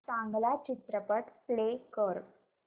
चांगला चित्रपट प्ले कर